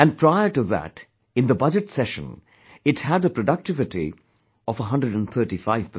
And prior to that in the budget session, it had a productivity of 135%